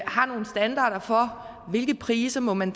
har nogle standarder for hvilke priser man